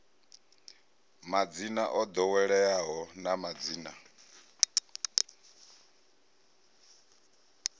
madzina o ḓoweleaho na madzina